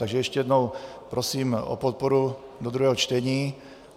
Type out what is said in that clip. Takže ještě jednou, prosím o podporu do druhého čtení.